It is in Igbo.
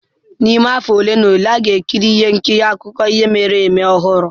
N'ime afọ ole na ole, a ga-ekiri ihe nkiri akụkọ ihe mere eme ọhụrụ.